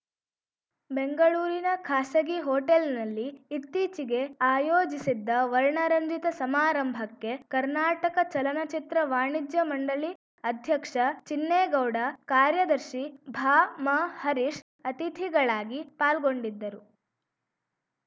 ಬೆಂಗಳೂರಿನ ಖಾಸಗಿ ಹೋಟೆಲ್‌ನಲ್ಲಿ ಇತ್ತೀಚೆಗೆ ಆಯೋಜಿಸಿದ್ದ ವರ್ಣರಂಜಿತ ಸಮಾರಂಭಕ್ಕೆ ಕರ್ನಾಟಕ ಚಲನಚಿತ್ರ ವಾಣಿಜ್ಯ ಮಂಡಳಿ ಅಧ್ಯಕ್ಷ ಚಿನ್ನೇಗೌಡ ಕಾರ್ಯದರ್ಶಿ ಭಾಮ ಹರೀಶ್‌ ಅತಿಥಿಗಳಾಗಿ ಪಾಲ್ಗೊಂಡಿದ್ದರು